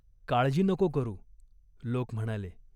"काळजी नको करू." लोक म्हणाले.